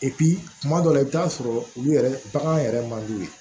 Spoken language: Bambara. kuma dɔ la i bɛ taa sɔrɔ olu yɛrɛ bagan yɛrɛ man d'u ye